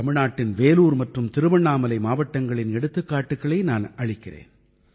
தமிழ்நாட்டின் வேலூர் மற்றும் திருவண்ணாமலை மாவட்டங்களின் எடுத்துக்காட்டுக்களை நான் அளிக்கிறேன்